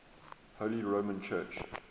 holy roman church